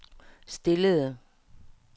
stillede